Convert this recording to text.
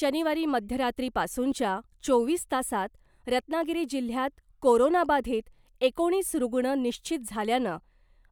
शनिवारी मध्यरात्रीपासूनच्या चोवीस तासांत रत्नागिरी जिल्ह्यात कोरोनाबाधित एकोणीस रुग्ण निश्चित झाल्यानं